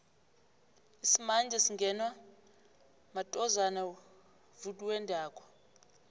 lsimanje singenwa matozana vwendako